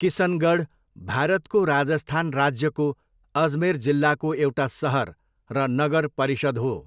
किसनगढ भारतको राजस्थान राज्यको अजमेर जिल्लाको एउटा सहर र नगर परिषद् हो।